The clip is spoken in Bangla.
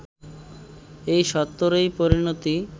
এই সত্যেরই পরিণতি